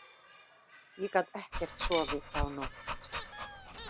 Ég gat ekkert sofið þá nótt.